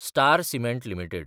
star cement limited